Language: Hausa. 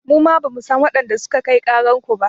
Muma bamu san waɗanda suka kai ƙarar ku ba.